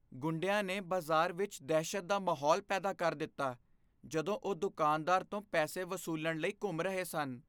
ਗੁੰਡਿਆਂ ਨੇ ਬਾਜ਼ਾਰ ਵਿੱਚ ਦਹਿਸ਼ਤ ਦਾ ਮਾਹੌਲ ਪੈਦਾ ਕਰ ਦਿੱਤਾ ਜਦੋਂ ਉਹ ਦੁਕਾਨਦਾਰ ਤੋਂ ਪੈਸੇ ਵਸੂਲਣ ਲਈ ਘੁੰਮ ਰਹੇ ਸਨ